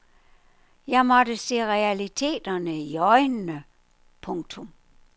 Jeg måtte se realiteterne i øjnene. punktum